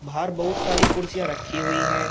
बाहर बहुत सारी कुर्सियां रखी हुई है।